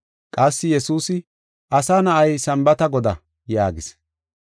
Qassi Yesuusi, “Asa Na7ay Sambaata Godaa” yaagis.